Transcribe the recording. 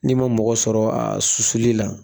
N'i ma mɔgɔ sɔrɔ a susuli la